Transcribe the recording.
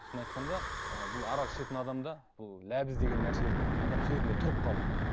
шынын айтқан ы бұл арақ ішетін адамда бұл ләбіз деген нәрсе адам сөзінде тұрып қалу